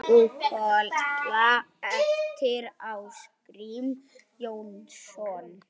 Búkolla eftir Ásgrím Jónsson